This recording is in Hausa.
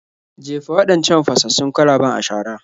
Jefa waɗancan fasassun kwalaben a shara.